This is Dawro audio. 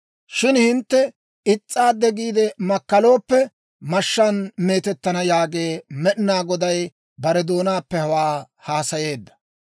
Shin hintte is's'aaddi giide makkalooppe, mashshaan meetettana» yaagee. Med'inaa Goday bare doonaappe hawaa haasayeedda.